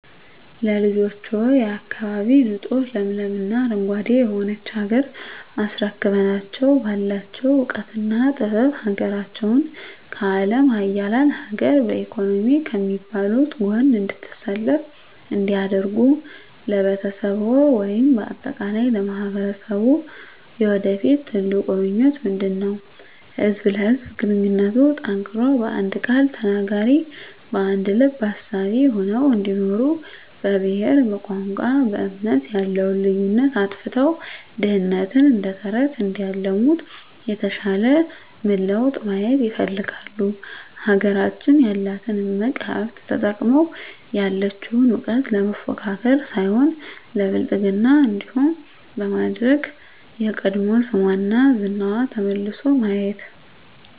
ለልጆችዎ፣ የአካባቢ ንፁህ ለምለም እና አረንጓዴ የሆነች ሀገር አስረክበናቸው ባላቸው እውቀትና ጥበብ ሀገራቸውን ከአለም ሀያላን ሀገር በኢኮኖሚ ከሚባሉት ጎን እንድትሰለፍ እንዲያደርጉ ለቤተሰብዎ ወይም በአጠቃላይ ለማህበረሰብዎ የወደፊት ትልቁ ምኞቶ ምንድነው? ህዝብ ለህዝብ ግንኙነቱ ጠንክሮ በአንድ ቃል ተናጋሪ በአንድ ልብ አሳቢ ሆነው እንዲኖሩ በብሄር በቋንቋ በእምነት ያለውን ልዩነት አጥፍተው ድህነትን እደተረተረት እንዲያለሙት የተሻለ ምን ለውጥ ማየት ይፈልጋሉ? ሀገራችን ያላትን እምቅ ሀብት ተጠቅመው ያለቸውን እውቀት ለመፎካከር ሳይሆን ለብልፅግና እንዲሆን በማድረግ የቀድሞ ስሟና ዝናዋ ተመልሶ ማየት